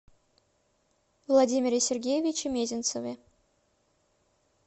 владимире сергеевиче мезенцеве